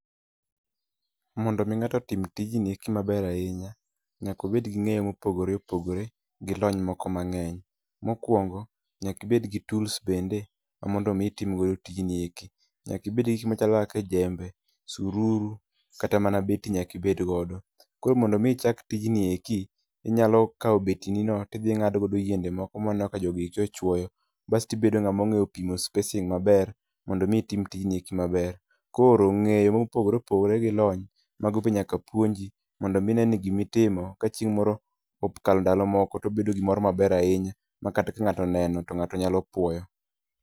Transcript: Mondo mi ng'ato otim tijni eki maber ahinya, nyaka obed gi ng'eyo mopogore opogore gi lony moko mang'eny. Mokuongo, nyaka ibed gi tools bende ma mondo mi itimogo tijni eki, nyaka ibed gi gik machalo kaka jembe, sururu kata mana beti nyaka ibed godo. Koro mondo mi ichak tijni eki inyalo kao beti ni no, tidhi ing'ado go yiende moko ma aneno ka jogi eki ochuoyo, basti bedo ng'ama ong'eyo pimo spacing maber mondo mi itim tijni eki mabe. Koro ng'eyo mopogore opogore gi lony, mago be nyaka puonji mondo mi ine ni gima itimo ka chieng' moro opo okalo ndalo moko to obedo gimoro maber ahinya ma kata ka ng'ato oneno to ng'ato nyalo puoyo.